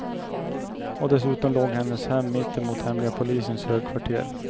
Och dessutom låg hennes hem mitt emot hemliga polisens högkvarter.